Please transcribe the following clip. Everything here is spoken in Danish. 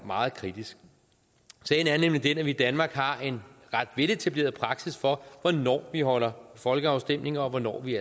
meget kritisk sagen er nemlig den at vi i danmark har en ret veletableret praksis for hvornår vi afholder folkeafstemninger og hvornår vi